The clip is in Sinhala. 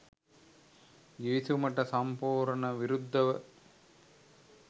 ගිවිසුමට සම්පූර්ණ විරුද්ධව